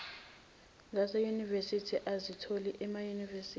zaseyunivesithi azithola emayunivesithi